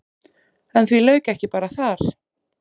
En því lauk ekki bara þar.